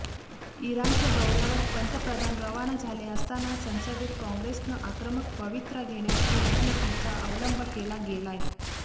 इराणच्या दौऱ्यावर पंतप्रधान रवाना झाले असताना संसदेत काँग्रेसनं आक्रमक पवित्रा घेण्याची रणनितीचा अवलंब केला गेलाय